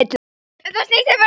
Um það snýst málið.